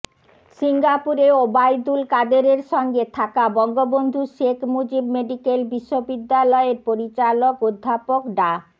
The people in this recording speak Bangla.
সিঙ্গাপুরে ওবায়দুল কাদেরের সঙ্গে থাকা বঙ্গবন্ধু শেখ মুজিব মেডিকেল বিশ্ববিদ্যালয়ের পরিচালক অধ্যাপক ডা